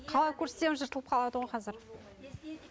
қалай көрсетемін жылтылып қалады ғой қазір